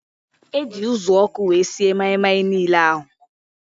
Eji uzuọkụ wee sie maị-maị niile ahụ